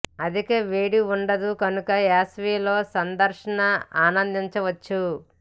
అధిక వేడి వుండదు కనుక వేసవి లో సందర్శన ఆనందించ వచ్చు